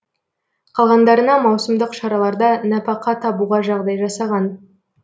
қалғандарына маусымдық шараларда нәпақа табуға жағдай жасаған